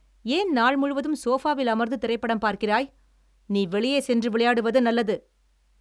ஏன் நாள் முழுவதும் சோபாவில் அமர்ந்து திரைப்படம் பார்க்கிறாய்? நீ வெளியே சென்று விளையாடுவது நல்லது!